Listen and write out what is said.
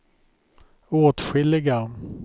åtskilliga